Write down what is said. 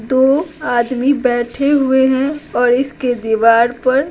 दो आदमी बैठे हुए हैं और इसके दीवार पर--